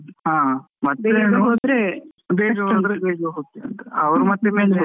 ಹ .